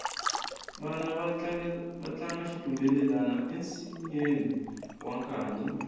vana va tlanga xitumbelelani ensinyeni wa nkanyi